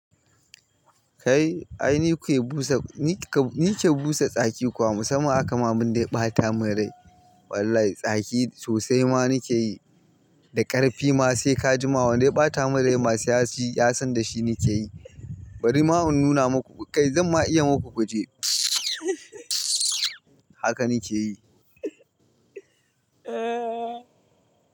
Kai, ai ni ke busa, ni ke busa tsaki kuwa? Musamman haka ma banda ya ɓata min rai. Wallahi tsaki sosai ma ni ke yi da ƙarfi ma sai ka ji ma wanda ya ɓata min rai masu yasan da shi ni ke yi. Bari ma in nuna muku, kai zan ma iya muku guje haka ni ke yi.